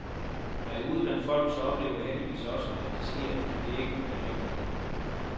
Når jeg er ude blandt folk, så oplever jeg heldigvis også, at de siger, at det kan ikke være rigtigt.